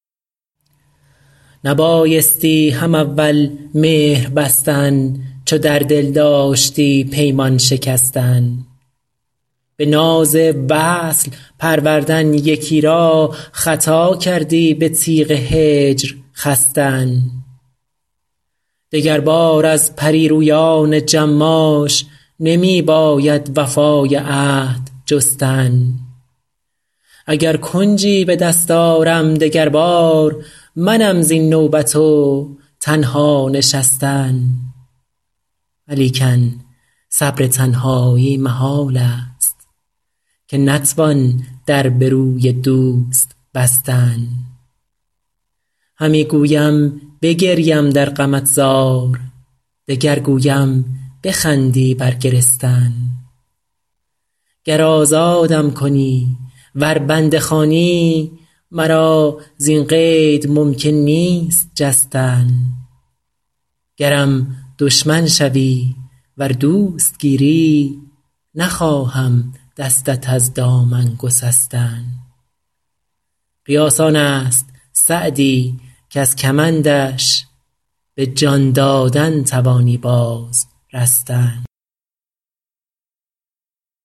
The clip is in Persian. نبایستی هم اول مهر بستن چو در دل داشتی پیمان شکستن به ناز وصل پروردن یکی را خطا کردی به تیغ هجر خستن دگربار از پری رویان جماش نمی باید وفای عهد جستن اگر کنجی به دست آرم دگر بار منم زین نوبت و تنها نشستن ولیکن صبر تنهایی محال است که نتوان در به روی دوست بستن همی گویم بگریم در غمت زار دگر گویم بخندی بر گرستن گر آزادم کنی ور بنده خوانی مرا زین قید ممکن نیست جستن گرم دشمن شوی ور دوست گیری نخواهم دستت از دامن گسستن قیاس آن است سعدی کز کمندش به جان دادن توانی باز رستن